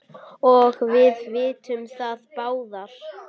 og við vitum það báðir.